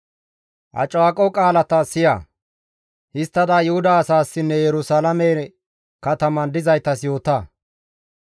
«Ha caaqo qaalata siya; histtada Yuhuda asaassinne Yerusalaame kataman dizaytas yoota.